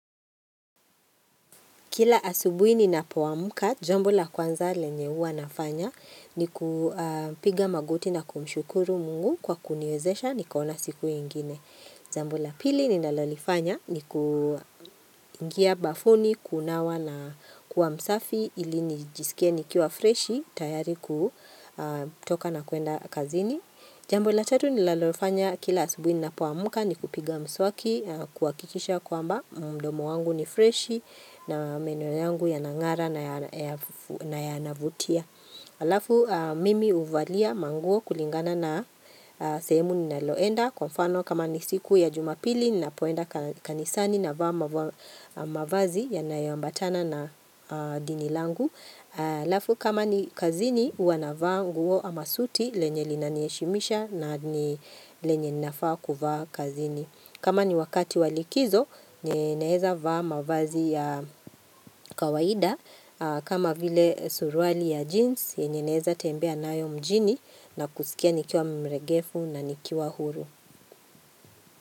Kila asubuhi ninapoamka, jambo la kwanza lenye huwa nafanya ni kupiga magoti na kumshukuru mungu kwa kuniwezesha niko na siku ingine. Jambo la pili ninalolifanya ni kuingia bafuni, kunawa na kuwa msafi ili nijisikie nikiwa freshi tayari kutoka na kuenda kazini. Jambo la tatu ninalofanya kila asubuhi ninapoamka ni kupiga mswaki na kuhakikisha kwamba mdomo wangu ni freshi na meno yangu yanangara na yanavutia. Alafu mimi uvalia manguo kulingana na sehemu ninaloenda kwa mfano kama nisiku ya jumapili nina poenda kanisani navaa ma mavazi yanayombatana na dinilangu. Lafu kama ni kazini huwa navaa nguo amasuti lenye lina linaniheshimisha na ni lenye ninafaa kuvaa kazini kama ni wakati walikizo ninaeneza vaa mavazi ya kawaida kama vile suruali ya jeans yenye naeza tembea nayo mjini na kusikia nikiwa mregefu na nikiwa huru.